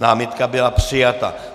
Námitka byla přijata.